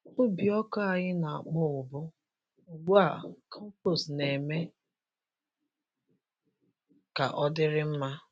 Ubi ọka anyị na-akpọnwụbu, ugbu a compost na-eme ka ọ dịrị mma.